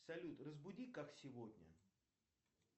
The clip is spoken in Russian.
салют разбуди как сегодня